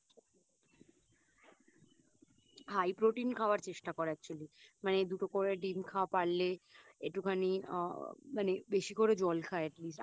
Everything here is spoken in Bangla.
High protein খাবার চেষ্টা কর Actually মানে দুটো করে ডিম খা পারলে একটুখানি আ মানে বেশি করে জল খা Atleast